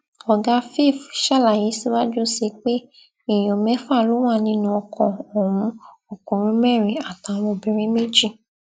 ọgá flf ṣàlàyé síwájú sí i pé èèyàn mẹfà ló wà nínú ọkọ ọhún ọkùnrin mẹrin àtàwọn obìnrin méjì